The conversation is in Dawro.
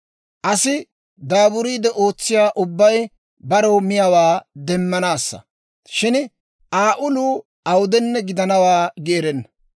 Asi daaburiide ootsiyaa ubbay barew miyaawaa demmanaassa; shin Aa uluu awudenne gidanawaa gi erenna.